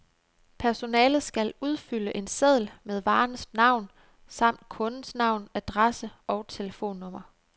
Personalet skal udfylde en seddel med varens navn samt kundens navn, adresse og telefonnummer.